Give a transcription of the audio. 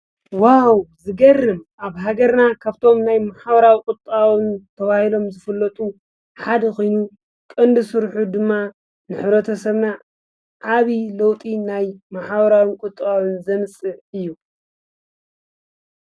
ዋው! ዝገርም ኣብ ሃገርና ካፍቶም ናይ ማሕበራውን ቁጠባውን ተባሂሎም ዝፍለጡ ሓደ ኾይኑ ቀንዲ ስርሑ ድማ ንሕብረተሰብና ዓብዪ ለውጢ ናይ ማሕበራውን ቁጠባውን ዘምፅእ እዩ።